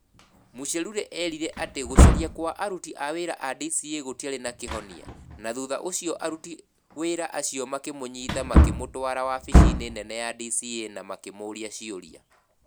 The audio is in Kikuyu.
Muchelule erire atĩ gũcaria kwa aruti wĩra a DCĩ gũtiarĩ na kĩhonia na thutha ũcio aruti wĩra acio makĩmũnyiita makĩmũtwara wabici-inĩ nene ya DCĩ na makĩmũũria ciũria.